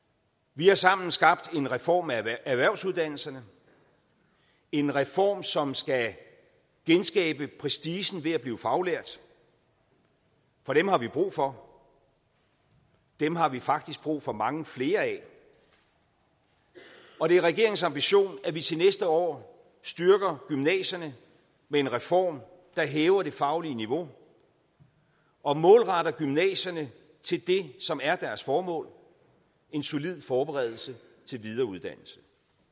vi har sammen skabt en reform af erhvervsuddannelserne en reform som skal genskabe prestigen ved at blive faglært for dem har vi brug for dem har vi faktisk brug for mange flere af af og det er regeringens ambition at vi til næste år styrker gymnasierne med en reform der hæver det faglige niveau og målretter gymnasierne til det som er deres formål en solid forberedelse til videre uddannelse